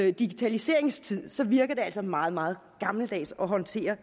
i digitaliseringens tidsalder så virker det altså meget meget gammeldags at håndtere